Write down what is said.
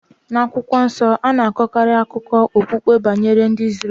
Na akwukwo nso, a na-akọkarị akụkọ okpukpe banyere ndị Izrel.